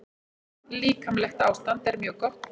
Líkamlegt ástand er mjög gott.